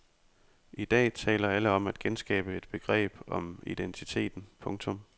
I dag taler alle om at genskabe et begreb om identiteten. punktum